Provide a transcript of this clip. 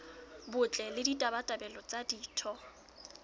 botle le ditabatabelo tsa ditho